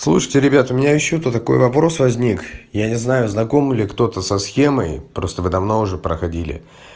слушайте ребята у меня ещё тут такой вопрос возник я не знаю знаком ли кто-то со схемой просто вы давно уже проходили